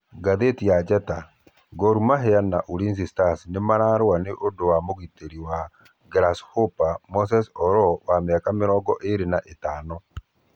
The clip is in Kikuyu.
(Ngathĩti ya Njata) For Mahia na Ulinzi Stars nĩ mararũa nĩ ũndũ wa mũgĩteri wa Grasshopper Moses Aloo wa miaka mĩrongoirĩ na ĩthano.